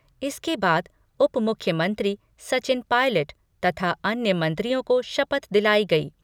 इसके बाद उपमुख्यमंत्री सचिन पायलट तथा अन्य मंत्रियों को शपथ दिलायी गयी।